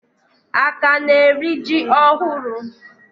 Aka na eri ji ohuru